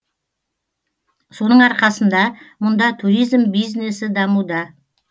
соның арқасында мұнда туризм бизнесі дамуда